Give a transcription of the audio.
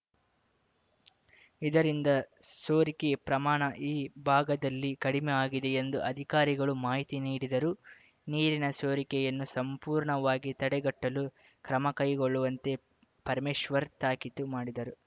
ಇದರಿಂದ ಸೋರಿಕೆ ಪ್ರಮಾಣ ಈ ಭಾಗದಲ್ಲಿ ಕಡಿಮೆಯಾಗಿದೆ ಎಂದು ಅಧಿಕಾರಿಗಳು ಮಾಹಿತಿ ನೀಡಿದರು ನೀರಿನ ಸೋರಿಕೆಯನ್ನು ಸಂಪೂರ್ಣವಾಗಿ ತಡೆಗಟ್ಟಲು ಕ್ರಮ ಕೈಗೊಳ್ಳುವಂತೆ ಪರಮೇಶ್ವರ್‌ ತಾಕೀತು ಮಾಡಿದರು